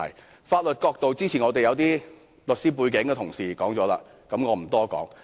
關於法律角度，早前有些律師背景的同事已說過，我不多說。